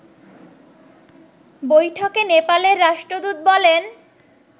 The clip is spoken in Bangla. বৈঠকে নেপালের রাষ্ট্রদূত বলেন